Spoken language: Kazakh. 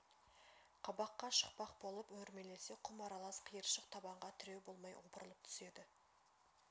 қабаққа шықпақ болып өрмелесе құм аралас қиыршық табанға тіреу болмай опырылып түседі